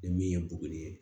Ni min ye buguri ye